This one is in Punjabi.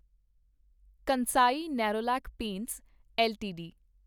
Kansai Nerolac paints LTD